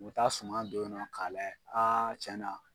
U bɛ taa suma don ye nɔ k'a layɛ a tiɲɛ na.